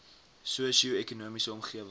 sosio ekonomiese omgewing